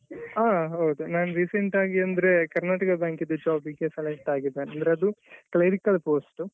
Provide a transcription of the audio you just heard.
ಹಾ ಹೌದು ನಾನು recent ಆಗಿ ಅಂದ್ರೆ ಕರ್ನಾಟಕ ಬ್ಯಾಂಕ್ದು job ಗೆ select ಆಗಿದ್ದೆ ಅಂದ್ರೆ ಅದು clerical post.